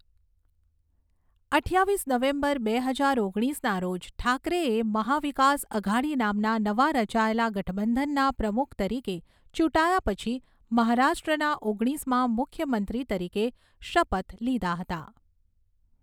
અઠ્ઠાવીસ નવેમ્બર બે હજાર ઓગણીસના રોજ ઠાકરેએ મહા વિકાસ અઘાડી નામના નવા રચાયેલા ગઠબંધનના પ્રમુખ તરીકે ચૂંટાયા પછી મહારાષ્ટ્રના ઓગણીસમા મુખ્યમંત્રી તરીકે શપથ લીધા હતા.